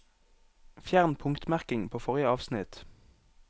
Fjern punktmerking på forrige avsnitt